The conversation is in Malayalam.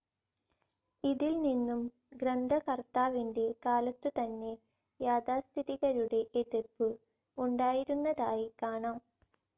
ഇതിൽനിന്നും ഗ്രന്ഥകർത്താവിൻ്റെ കാലത്തുതന്നെ യാഥാസ്ഥിതികരുടെ എതിർപ്പ് ഉണ്ടായിരുന്നതായി കാണാം.